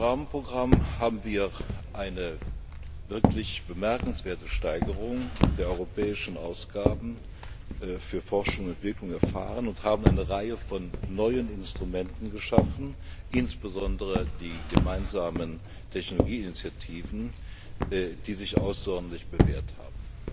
Forschungsrahmenprogramm haben wir eine wirklich bemerkenswerte Steigerung der europäischen Ausgaben für Forschung und Entwicklung erfahren und eine Reihe von neuen Instrumenten geschaffen, insbesondere die gemeinsamen Technologieinitiativen, die sich außerordentlich bewährt haben.